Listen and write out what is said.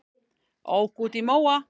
Ók út í móa